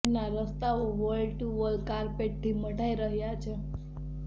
શહેરનાં રસ્તાઓ wall to wall કાર્પેટથી મઢાઇ રહ્યાં છે